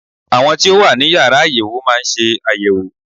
Àwọn tí ó wà ní Yàrá àyẹ̀wò má ń ṣe àyẹ̀wò.